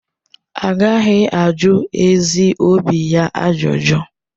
Agaghị ajụ ezi obi ya ajụjụ.